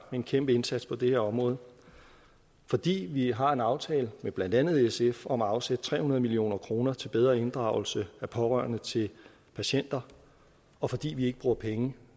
en kæmpe indsats på det her område og fordi vi har en aftale med blandt andet sf om at afsætte tre hundrede million kroner til bedre inddragelse af pårørende til patienter og fordi vi ikke bruger penge